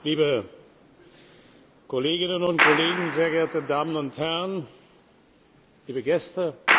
Liebe Kolleginnen und Kollegen, sehr geehrte Damen und Herren, liebe Gäste!